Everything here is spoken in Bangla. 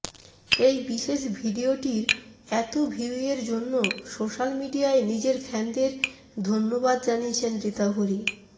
এই বিশেষ ভিডিওটির এত ভিউয়ের জন্য সোশ্যাল মিডিয়ায় নিজের ফ্যানদের ধন্যবাদ জানিয়েছেন ঋতাভরী